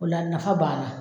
Ola nafa banna.